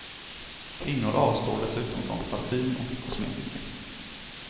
Kvinnor avstår dessutom från parfym och kosmetika.